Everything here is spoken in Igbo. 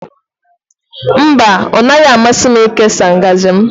Mba, ọ naghị amasị m ịkesa ngaji m